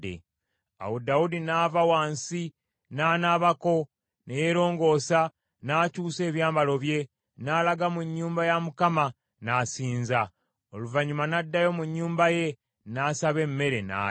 Awo Dawudi n’ava wansi, n’anaabako, ne yeerongoosa, n’akyusa ebyambalo bye, n’alaga mu nnyumba ya Mukama n’asinza. Oluvannyuma n’addayo mu nnyumba ye, n’asaba emmere, n’alya.